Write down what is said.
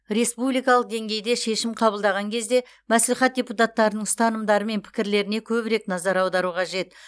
республикалық деңгейде шешім қабылдаған кезде мәслихат депутаттарының ұстанымдары мен пікірлеріне көбірек назар аудару қажет